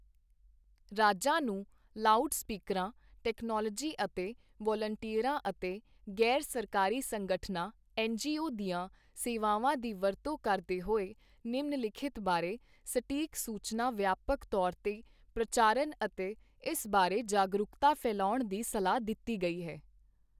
ਰਾਜਾਂ ਨੂੰ ਲਾਊਡ ਸਪੀਕਰਾਂ, ਟੈਕਨੋਲੋਜੀ ਅਤੇ ਵਲੰਟੀਅਰਾਂ ਅਤੇ ਗ਼ੈਰ ਸਰਕਾਰੀ ਸੰਗਠਨਾਂ ਐੱਨ ਜੀ ਓ ਦੀਆਂ ਸੇਵਾਵਾਂ ਦੀ ਵਰਤੋਂ ਕਰਦੇ ਹੋਏ ਨਿਮਨਲਿਖਿਤ ਬਾਰੇ ਸਟੀਕ ਸੂਚਨਾ ਵਿਆਪਕ ਤੌਰ ਤੇ ਪ੍ਰਚਾਰਨ ਅਤੇ ਇਸ ਬਾਰੇ ਜਾਗਰੂਕਤਾ ਫੈਲਾਉਣ ਦੀ ਸਲਾਹ ਦਿੱਤੀ ਗਈ ਹੈ